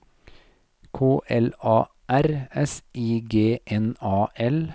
K L A R S I G N A L